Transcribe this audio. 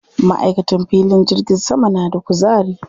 Maʼaikatan filin jirgin sama na da kuzari.